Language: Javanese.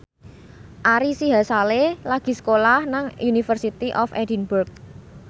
Ari Sihasale lagi sekolah nang University of Edinburgh